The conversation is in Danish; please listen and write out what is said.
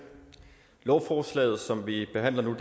lovforslaget som vi behandler nu